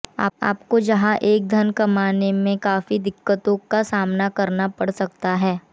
आपको जहां एक ओर धन कमाने में काफी दिक्कतों का सामना करना पड़ सकता है